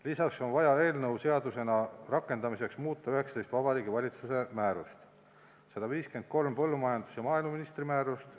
Lisaks on vaja eelnõu seadusena rakendamiseks muuta 19 Vabariigi Valitsuse määrust ning 153 põllumajandus- või maaeluministri määrust.